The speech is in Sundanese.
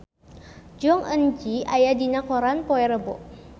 Jong Eun Ji aya dina koran poe Rebo